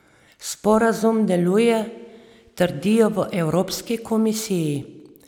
Sporazum deluje, trdijo v evropski komisiji.